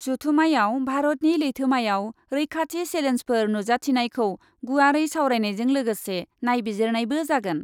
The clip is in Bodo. जथुमायाव भारतनि लैथोमायाव रैखाथि सेलेन्सफोर नुजाथिनायखौ गुवारै सावरायनायजों लोगोसे नायबिजिरनायबो जागोन।